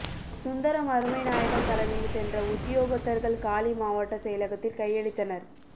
சுந்தரம் அருமைநாயகம் தலைமையில் சென்ற உத்தியோகத்தர்கள் காலி மாவட்ட செயலகத்தில் கையளித்தனர்